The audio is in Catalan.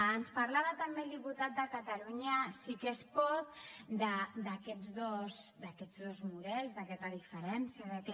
ens parlava també el diputat de catalunya sí que es pot d’aquests dos models d’aquesta diferència que